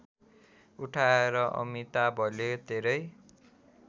उठाएर अमिताभले धेरै